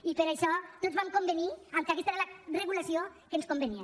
i per això tots vam convenir que aquesta era la regulació que ens convenia